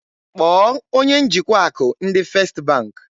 Kpọọ onye njikwa akụ ndị First bank!